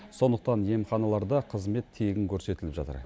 сондықтан емханаларда қызмет тегін көрсетіліп жатыр